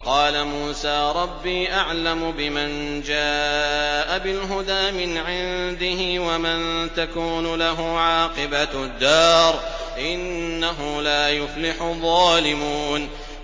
وَقَالَ مُوسَىٰ رَبِّي أَعْلَمُ بِمَن جَاءَ بِالْهُدَىٰ مِنْ عِندِهِ وَمَن تَكُونُ لَهُ عَاقِبَةُ الدَّارِ ۖ إِنَّهُ لَا يُفْلِحُ الظَّالِمُونَ